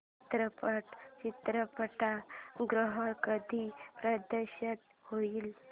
चित्रपट चित्रपटगृहात कधी प्रदर्शित होईल